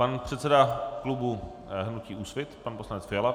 Pan předseda klubu hnutí Úsvit pan poslanec Fiala.